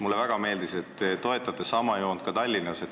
Mulle väga meeldib, et te toetate sama joont ka Tallinnas.